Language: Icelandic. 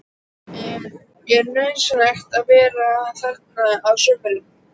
Er nauðsynlegt að vera þarna á sumrin?